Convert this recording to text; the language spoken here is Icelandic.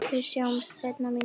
Við sjáumst seinna mín kæra.